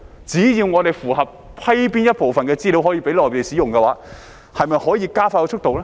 只要我們批准某部分資料讓內地使用，是否可以加快速度呢？